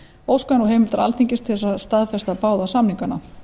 óskað er nú heimildar alþingis til þess að staðfesta báða samningana